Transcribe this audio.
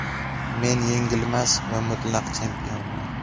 Men yengilmas va mutlaq chempionman.